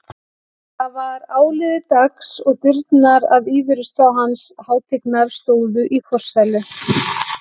Það var áliðið dags og dyrnar að íverustað hans hátignar stóðu í forsælu.